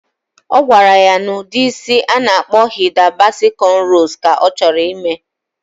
Ogwara ya na udi isi ana akpo Hilda Baci conrows ka ochoro imee